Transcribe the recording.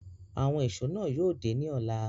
Awọn éṣo náa yóò de ni ọla